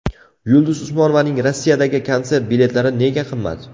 Yulduz Usmonovaning Rossiyadagi konsert biletlari nega qimmat?